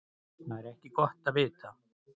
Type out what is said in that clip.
Það er ekki gott að vita.